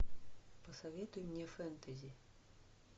посоветуй мне фэнтези